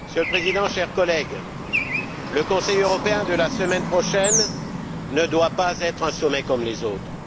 Monsieur le Président, chers collègues, le Conseil européen de la semaine prochaine ne doit pas être un sommet comme les autres.